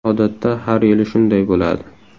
Odatda har yili shunday bo‘ladi.